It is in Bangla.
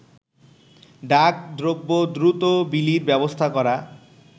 ডাক দ্রব্য দ্রুত বিলির ব্যবস্থা করা